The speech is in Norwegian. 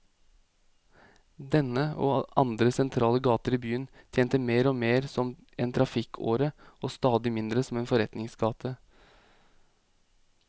Denne, og andre sentrale gater i byen, tjente mer og mer som en trafikkåre og stadig mindre som forretningsgate.